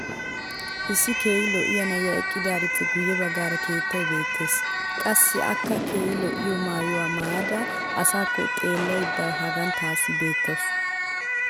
issi keehi lo'iya na'iya eqqidaarippe guye bagaara keettay beetees. qassi akka keehi lo'iya maayuwaa maayada asaakko xeelaydda hagan taassi beetawus.